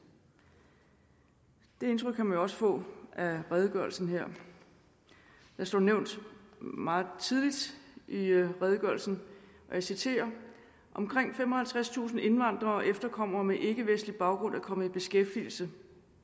det indtryk kan man jo også få af redegørelsen her der står nævnt meget tidligt i redegørelsen og jeg citerer omkring femoghalvtredstusind indvandrere og efterkommere med ikkevestlig baggrund er kommet i beskæftigelse